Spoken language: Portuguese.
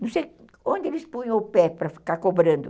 Não sei onde eles punham o pé para ficar cobrando.